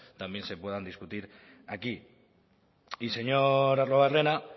también se puedan discutir aquí y señor arruabarrena